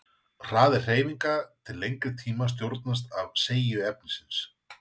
hraði hreyfinga til lengri tíma stjórnast af seigju efnisins